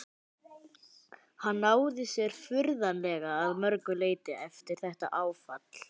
Hann náði sér furðanlega að mörgu leyti eftir þetta áfall.